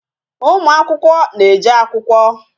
Ụmụ akwụkwọ na-eje akwụkwọ